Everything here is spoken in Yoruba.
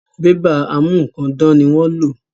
Bébà a mú nǹkan dán ni wọ́n ń lò